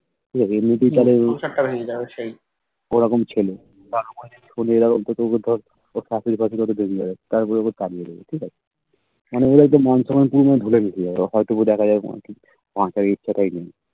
দেখো এমনিতেই কারোর ওরকম ছেলে এবার আমাদের কোন জায়গায় কোথাও কোথাও ওর শাশুড়ি ফাসুড়ি হয়তো জেনে যাবে তারপর ওকে তাড়িয়ে দেবে ঠিক আছে কেন ওর হয়তো মান সম্মান পুরো ধুলায় মিশে যাবে হয়ত বা দেখা যাবে ঠিক সংসারের ইচ্ছা টাই নেই